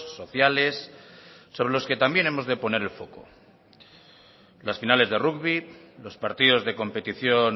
sociales sobre los que también hemos de poner el foco las finales de rugbi los partidos de competición